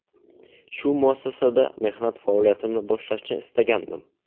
Shu muassasada mehnat faoliyatimni boshlashni istagandim.